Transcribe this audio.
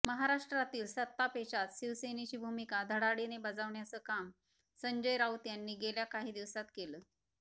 महाराष्ट्रातील सत्तापेचात शिवसेनेची भूमिका धडाधडीने बजवण्याचं काम संजय राऊत यांनी गेल्या काही दिवसात केलं